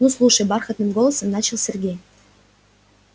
ну слушай бархатным голосом начал сергей